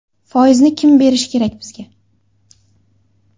Foizni kim berishi kerak bizga?